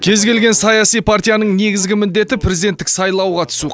кез келген саяси партияның негізгі міндеті президенттік сайлауға түсу